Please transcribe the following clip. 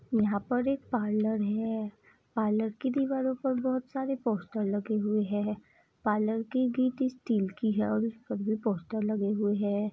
यहाँ पर एक पार्लर है पार्लर के दीवारों पर बहुत सारे पोस्टर लगे हुए हैं पार्लर के गेटें स्टील की है और उसपे भी पोस्टर लगे हुए हैं।